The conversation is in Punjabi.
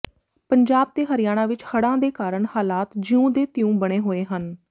ਪੰਜਾਬ ਤੇ ਹਰਿਆਣਾ ਵਿਚ ਹੜ੍ਹਾਂ ਕਾਰਨ ਹਾਲਾਤ ਜਿਉਂ ਦੇ ਤਿਉਂ ਬਣੇ ਹੋਏ ਹਨ